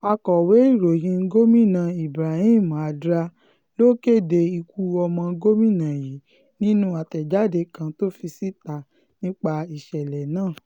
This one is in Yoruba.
akọ̀wé ìròyìn gómìnà ibrahim addra ló kéde ikú ọmọ gómìnà yìí nínú àtẹ̀jáde kan tó fi síta nípa ìṣẹ̀lẹ̀ náà